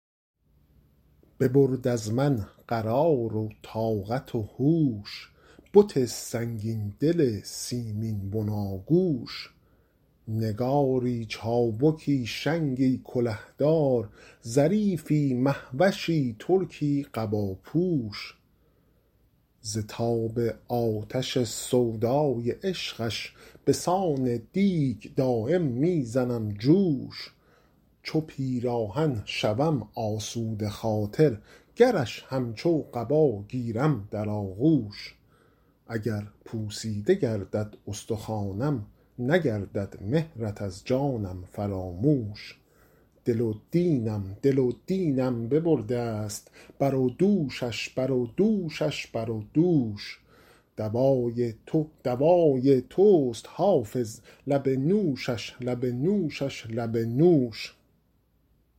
ببرد از من قرار و طاقت و هوش بت سنگین دل سیمین بناگوش نگاری چابکی شنگی کله دار ظریفی مه وشی ترکی قباپوش ز تاب آتش سودای عشقش به سان دیگ دایم می زنم جوش چو پیراهن شوم آسوده خاطر گرش همچون قبا گیرم در آغوش اگر پوسیده گردد استخوانم نگردد مهرت از جانم فراموش دل و دینم دل و دینم ببرده ست بر و دوشش بر و دوشش بر و دوش دوای تو دوای توست حافظ لب نوشش لب نوشش لب نوش